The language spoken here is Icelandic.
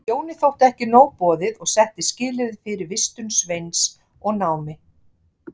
Jóni þótti ekki nóg boðið og setti skilyrði fyrir vistun Sveins og námi.